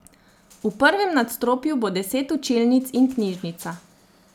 V prvem nadstropju bo deset učilnic in knjižnica.